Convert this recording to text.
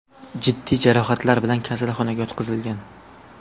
jiddiy jarohatlar bilan kasalxonaga yotqizilgan.